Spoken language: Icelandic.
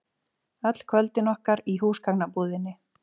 Öll kvöldin okkar í húsgagnabúðinni.